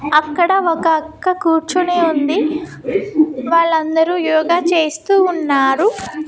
అక్కడ ఒక అక్క కూర్చుని ఉంది వాళ్ళందరూ యోగ చేస్తూ ఉన్నారు.